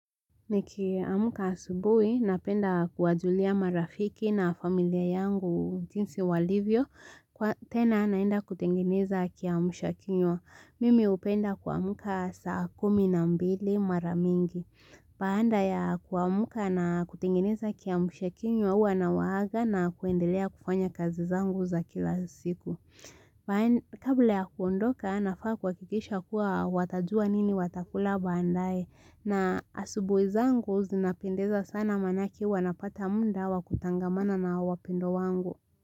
Nikiamka asubui, napenda kuwajulia marafiki na familia yangu jinsi walivyo. Kwa tena naenda kutengeneza kiamsha kinywa. Mimi hupenda kuamka saa kumi na mbili maramingi. Baada ya kuamka na kutengeneza kiamsha kinywa huwa nawaaga na kuendelea kufanya kazi zangu za kila siku. Kabla ya kuondoka, nafaa kuhakikisha kuwa watajua nini watakula baadaye. Na asubui zangu zina pendeza sana manake huwa napata muda wakutangamana na wapendwa wangu.